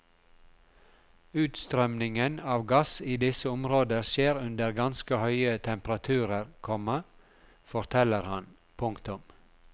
Utstrømningen av gass i disse områder skjer under ganske høye temperaturer, komma forteller han. punktum